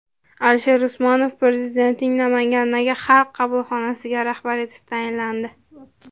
Alisher Usmonov Prezidentning Namangandagi xalq qabulxonasiga rahbar etib tayinlandi.